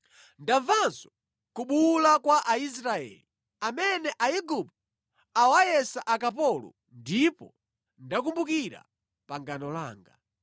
Ndamvanso kubuwula kwa Aisraeli, amene Aigupto awayesa akapolo ndipo ndakumbukira pangano langa.”